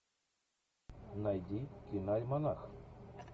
найди кино альманах